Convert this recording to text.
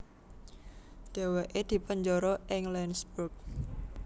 Dhèwèké dipenjara ing Landsberg